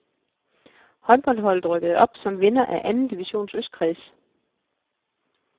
Håndboldholdet rykkede op som vinder af anden divisions østkreds.